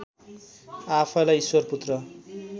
आफैँलाई ईश्वरपुत्र